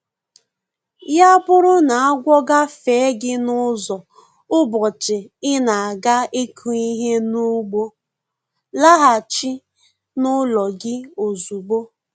Ya bụrụ n'agwọ agafee gị n'ụzọ ụbọchị ị na-aga ịkụ ihe n'ugbo, laghachi n'ụlọ gị ozugbo